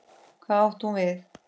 Hvað átti hún við?